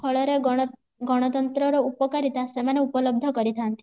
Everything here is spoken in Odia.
ଫଳରେ ଗଣ ଗଣତନ୍ତ୍ର ର ଉପକାରିତା ସେମାନେ ଉପଲବ୍ଧ କରି ଥାନ୍ତି